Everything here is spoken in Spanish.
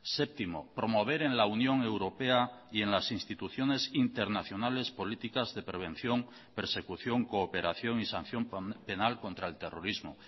séptimo promover en la unión europea y en las instituciones internacionales políticas de prevención persecución cooperación y sanción penal contra el terrorismo